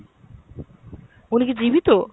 উনি কি জীবিত?